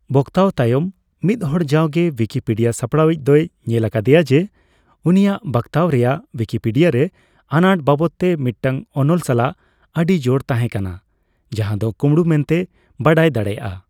ᱵᱚᱠᱛᱟᱣ ᱛᱟᱭᱚᱢ, ᱢᱤᱫ ᱦᱚᱲ ᱡᱟᱣᱜᱮ ᱣᱤᱠᱤᱯᱤᱰᱤᱭᱟ ᱥᱟᱯᱲᱟᱣᱤᱡ ᱫᱚᱭ ᱧᱮᱞ ᱟᱠᱟᱫᱟᱭ ᱡᱮ ᱩᱱᱤᱭᱟᱜ ᱵᱟᱠᱛᱟᱣ ᱨᱮᱭᱟᱜ ᱣᱤᱠᱤᱯᱤᱰᱤᱭᱟ ᱨᱮ ᱟᱱᱟᱴ ᱵᱟᱵᱚᱫᱛᱮ ᱢᱤᱫᱴᱟᱝ ᱚᱱᱚᱞ ᱥᱟᱞᱟᱜ ᱟᱹᱰᱤ ᱡᱚᱲ ᱛᱟᱦᱮᱸ ᱠᱟᱱᱟ, ᱡᱟᱦᱟᱸ ᱫᱚ ᱠᱩᱢᱲᱩ ᱢᱮᱱᱛᱮᱭ ᱵᱟᱰᱟᱭ ᱫᱟᱲᱮᱭᱟᱜᱼᱟ ᱾